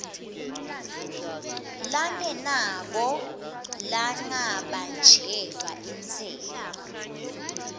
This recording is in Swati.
lengenako lengabanjelwa intsela